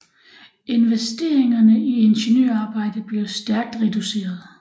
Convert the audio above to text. Investeringerne i ingeniørarbejder blev stærkt reduceret